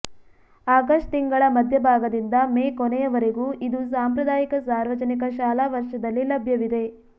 August ತಿಂಗಳ ಮಧ್ಯಭಾಗದಿಂದ May ಕೊನೆಯವರೆಗೂ ಇದು ಸಾಂಪ್ರದಾಯಿಕ ಸಾರ್ವಜನಿಕ ಶಾಲಾ ವರ್ಷದಲ್ಲಿ ಲಭ್ಯವಿದೆ